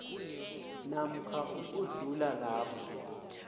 namkha ukudlula lapho